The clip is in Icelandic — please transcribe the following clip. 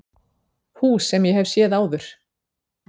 Hús sem ég hef séð áður.